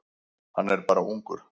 Hann er bara ungur.